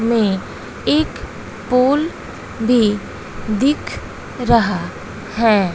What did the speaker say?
में एक पोल भी दिख रहा है।